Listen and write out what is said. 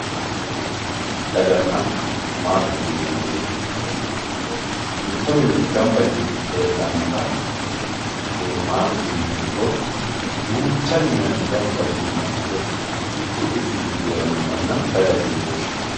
Daganna maattette yineemoti mito mine gamba yite heedhanotta maatete yiniha ikkiro duucha minanni gamba yino mana woyi mitu quchumu gido heerano mana dagate yine woshinanni